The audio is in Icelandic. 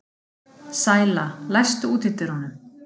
Sæla, læstu útidyrunum.